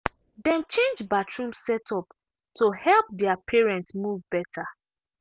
dem change bathroom setup to help their parent move better.